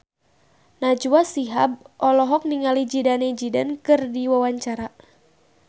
Najwa Shihab olohok ningali Zidane Zidane keur diwawancara